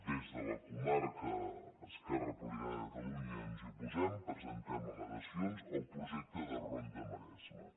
des de la comarca esquerra republicana de catalunya ens hi oposem presentem al·legacions al projecte de ronda maresme